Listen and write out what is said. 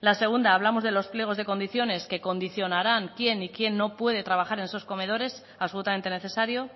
la segunda hablamos de los pliegos de condiciones que condicionarán quién y quién no puede trabajar en esos comedores absolutamente necesario